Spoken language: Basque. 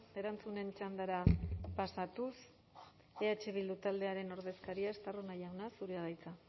erantzunen txandara pasatuz eh bildu taldearen ordezkaria estarrona jauna zurea da hitza